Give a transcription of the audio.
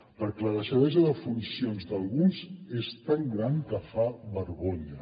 perquè la deixadesa de funcions d’alguns és tan gran que fa vergonya